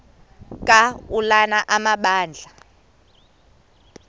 ka ulana amabandla